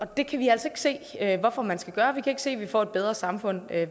det kan vi altså ikke se hvorfor man skal gøre vi kan ikke se at vi får et bedre samfund